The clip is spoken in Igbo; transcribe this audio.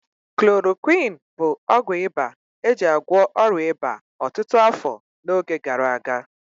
Klorokwịn bụ ọgwụ ịba eji agwọ ọrịa ịba ọtụtụ afọ n'oge gara aga.